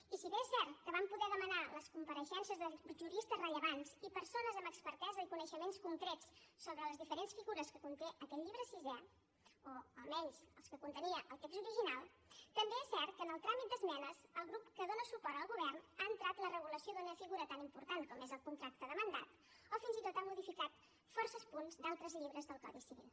i si bé és cert que vam poder demanar les compareixences de juristes rellevants i persones amb expertesa i coneixements concrets sobre les diferents figures que conté aquest llibre sisè o almenys les que contenia el text original també és cert que en el tràmit d’esmenes el grup que dóna suport al govern ha entrat la regulació d’una figura tan important com és el contracte de mandat o fins i tot ha modificat forces punts d’altres llibres del codi civil